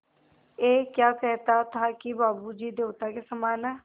ऐं क्या कहता था कि बाबू जी देवता के समान हैं